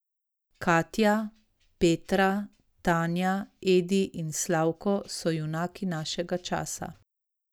Katja, Petra, Tanja, Edi in Slavko so junaki našega časa.